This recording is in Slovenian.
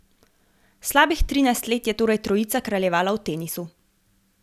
Slabih trinajst let je torej trojica kraljevala v tenisu.